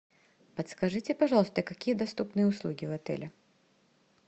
подскажите пожалуйста какие доступные услуги в отеле